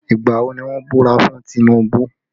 Ìgbà wo ni wọ́n búra fún Tinubu?